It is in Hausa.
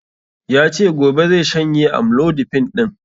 Yace gobe zai shanye amlodipine ɗin